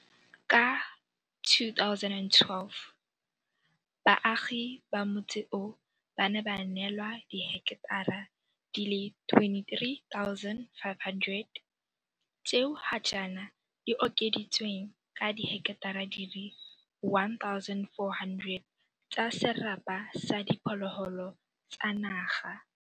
Ka 2012, baagi ba motse oo ba ne ba neelwa diheketara di le 23 500 tseo ga jaana di okeditsweng ka diheketara di le 1 400 tsa serapa sa diphologolo tsa naga.